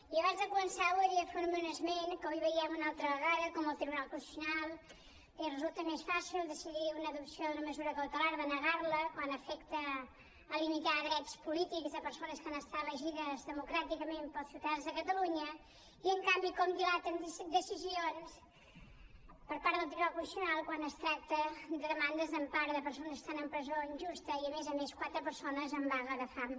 jo abans de començar voldria fer un esment que avui veiem una altra vegada com al tribunal constitucional li resulta més fàcil decidir una adopció d’una mesura cautelar denegar la quan afecta limitar drets polítics de persones que han estat elegides democràticament pels ciutadans de catalunya i en canvi com dilaten decisions per part del tribunal constitucional quan es tracta de demandes d’empara de persones que estan en presó injusta i a més a més quatre persones en vaga de fam